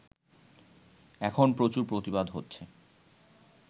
এখন প্রচুর প্রতিবাদ হচ্ছে